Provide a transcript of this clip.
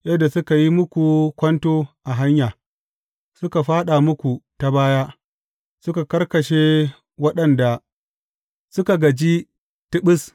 Yadda suka yi muku kwanto a hanya, suka fāɗa muku ta baya, suka karkashe waɗanda suka gaji tiɓis.